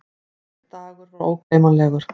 Þessi dagur var ógleymanlegur.